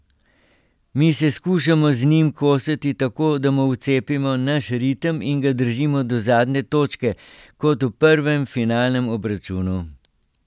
Mi se skušamo z njim kosati tako, da mu vcepimo naš ritem in ga držimo do zadnje točke, kot v prvem finalnem obračunu.